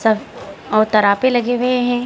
सब और तड़ापे लगे हुए है।